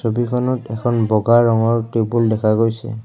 ছবিখনত এখন বগা ৰঙৰ টেবুল দেখা গৈছে।